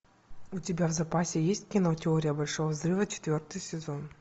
у тебя в запасе есть кино теория большого взрыва четвертый сезон